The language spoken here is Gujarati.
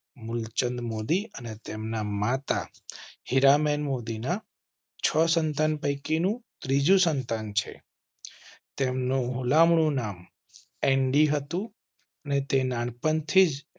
મૂલચંદ મોદી અને તેમના માતા હીરા બે મોદી ના છ સંતાન પૈકી નું ત્રીજું સંતાન છે. તેમ નો હુલા મણું નામ. એન્ડી હતું અને તે નાનપણ થી જ